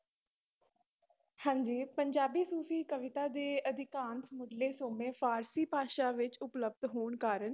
ਹਾਂਜੀ ਪੰਜਾਬੀ ਸੂਫ਼ੀ ਕਵਿਤਾ ਦੇ ਅਧਿਕਾਂਤ ਮੁੱਢਲੇ ਸੋਮੇ ਫ਼ਾਰਸ਼ੀ ਭਾਸ਼ਾ ਵਿੱਚ ਉਪਲਬਧ ਹੋਣ ਕਾਰਨ